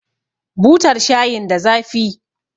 Butar shayin da zafi